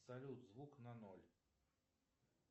салют звук на ноль